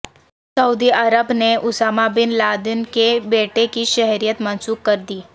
سعودی Arab نے Osama bin Laden کے بیٹے کی شہریت منسوخ کر دی